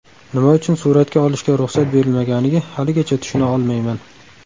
Nima uchun suratga olishga ruxsat berilmaganiga haligacha tushuna olmayman.